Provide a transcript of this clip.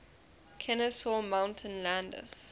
kenesaw mountain landis